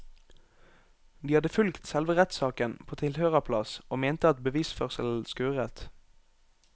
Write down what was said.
De hadde fulgt selve rettssaken på tilhørerplass og mente at bevisførselen skurret.